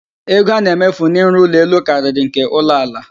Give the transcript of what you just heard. Ego a na-emefu n'ịrụ ụlọ elu karịrị nke ụlọ ala